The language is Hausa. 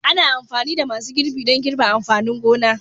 Ana amfani da masu girbi don girbi amfanin gona